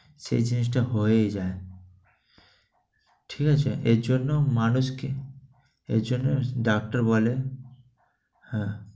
সে চেষ্টা হয়েই যায়, ঠিক আছে? এজন্য মানুষকে এজন্য ডাক্তার বলে হ্যাঁ